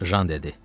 Jan dedi.